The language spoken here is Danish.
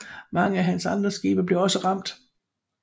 Mange af hans andre skibe blev også ramt